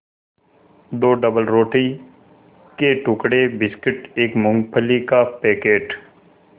दो डबलरोटी के टुकड़े बिस्कुट एक मूँगफली का पैकेट